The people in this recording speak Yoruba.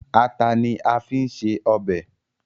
Ata ni a fi ń se ọbẹ̀